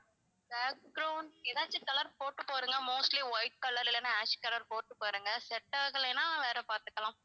ஏதாச்சும் colour போட்டு பாருங்க mostly white colour இல்லன்னா ash colour போட்டு பாருங்க set ஆகலேன்னா வேற பாத்துக்கலாம்